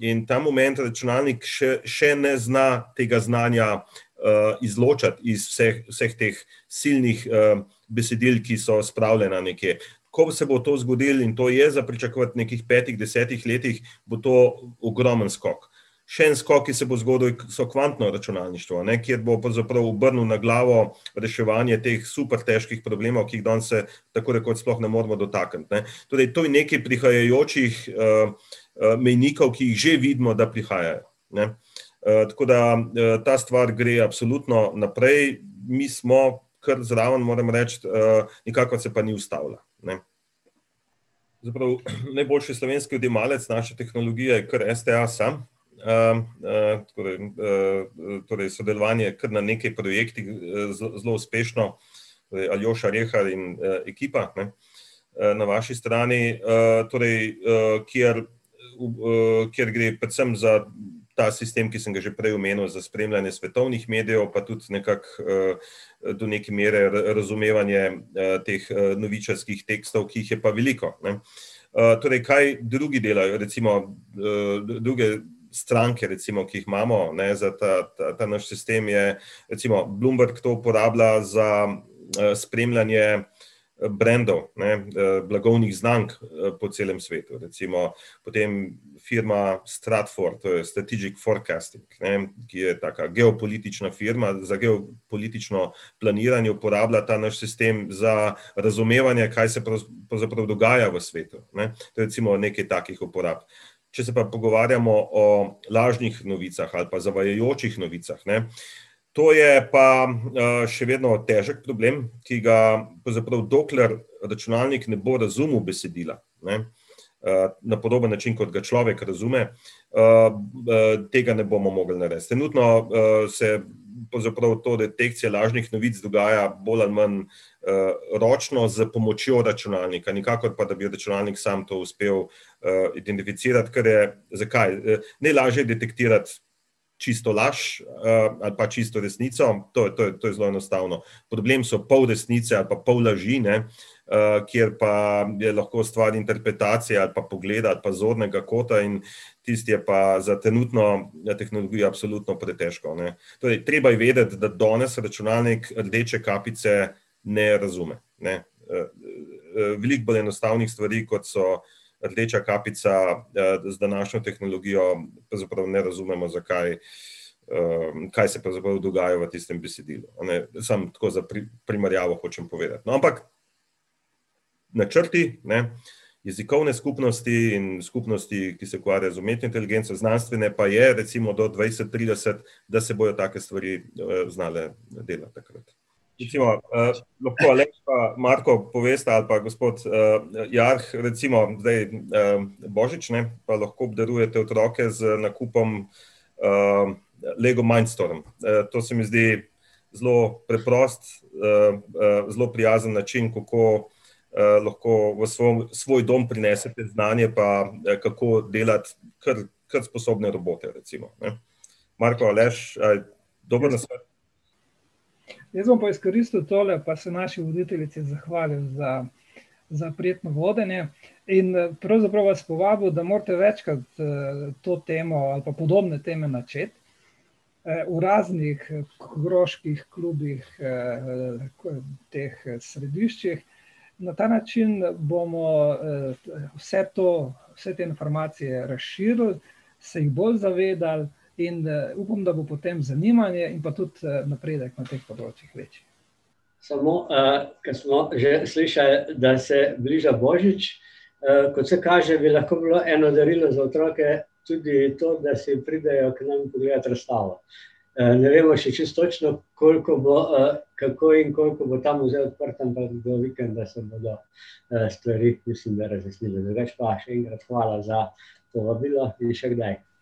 in ta moment računalnik še, še ne zna tega znanja, izločati iz vseh teh silnih, besedil, ki so spravljena nekje. Ko se bo to zgodilo, in to je za pričakovati v nekih petih, desetih letih, bo to ogromen skok. Še en skok, ki se bo zgodil, so kvantno računalništvo, a ne, kjer bo pravzaprav obrnil na glavo reševanje teh supertežkih problemov, ki jih danes se, tako rekoč, sploh ne moremo dotakniti, ne. Torej to je nekaj prihajajočih, mejnikov, ki jih že vidimo, da prihajajo, ne. tako da, ta stvar gre absolutno naprej. Mi smo kar zraven, moram reči, nikakor se pa ni ustavila, ne. Pravzaprav najboljši slovenski odjemalec naše tehnologije je kar STA sam. tako da, torej sodelovanje kar na nekaj projektih, zelo uspešno, Aljoša Rehar in, ekipa, ne. na vaši strani, torej, kjer kjer gre predvsem za ta sistem, ki sem ga že prej omenil za spremljanje svetovnih medijev pa tudi nekako, do neke mere razumevanje, teh, novičarskih tekstov, ki jih je pa veliko, ne. torej kaj drugi delajo recimo, druge stranke, recimo, ki jih imamo, ne, za ta, ta naš sistem je, recimo, Bloomberg to uporablja za, spremljanje brandov, ne, blagovnih znamk po celem svetu, recimo, potem firma Stratford, to je Strategic Forcasting, ne vem, ki je taka geopolitična firma, za geopolitično planiranje, uporablja ta naš sistem za razumevanje, kaj se pravzaprav dogaja v svetu, ne. To je recimo nekaj takih uporabnikov. Če se pa pogovarjamo o lažnih novicah ali pa zavajajočih novicah, ne, to je pa, še vedno težek problem, ki ga, pravzaprav dokler računalnik ne bo razumel besedila, ne, na podoben način, kot ga človek razume, tega ne bomo mogli narediti. Trenutno, se pravzaprav to detekcija lažnih novic dogaja bolj ali manj, ročno s pomočjo računalnika, nikakor pa ne, da bi računalnik sam to uspel, identificirati, ker je, zakaj? Najlažje je detektirati čisto laž, ali pa čisto resnico, to to je, to je zelo enostavno. Problem so polresnice ali pa pollaži, ne, kjer pa je lahko stvar interpretacije ali pa pogleda ali pa zornega kota in tisto je pa, za trenutno tehnologijo, absolutno pretežko, ne. Torej, treba je vedeti, da danes računalnik Rdeče kapice ne razume, ne. veliko bolj enostavnih stvari, kot so Rdeča kapica, z današnjo tehnologijo, pravzaprav ne razumemo, zakaj, kaj se pravzaprav dogaja v tistem besedilu, a ne, samo tako za primerjavo hočem povedati. No, ampak načrti, ne, jezikovne skupnosti in skupnosti, ki se ukvarja z umetno inteligenco, znanstvene pa je, recimo do dvajset, trideset, da se bojo take stvari, znale delati takrat. Recimo, lahko Aleš pa Marko povesta ali pa gospod, Jarh, recimo, zdaj, Božič, ne, pa lahko obdarujete otroke z nakupom, Lego mindstorm. to se mi zdi zelo preprost, zelo prijazen način, kako, lahko svoj dom prinesete znanje pa, kako delati kar, kar sposobne robote, recimo, ne. Marko, Aleš, ali? Kdo bo ...? Jaz bom pa izkoristil tole pa se naši voditeljici zahvalil za, za prijetno vodenje in, pravzaprav vas povabil, da morate večkrat, to temo ali pa podobne teme načeti, v raznih krožkih, klubih, teh središčih. Na ta način bomo, vse to, vse te informacije razširili, se jih bolj zavedali in, upam, da bo potem zanimanje in pa tudi, napredek na teh področjih. Samo, ker smo že slišali, da se bliža božič. kot vse kaže, bi lahko bilo eno darilo za otroke tudi to, da si pridejo k nam pogledat razstavo. ne vemo še čisto točno, koliko bo, kako in koliko bo ta muzej odprt, ampak do vikenda se bodo, stvari, mislim, da razjasnile. Drugače pa še enkrat hvala za povabilo in še kdaj.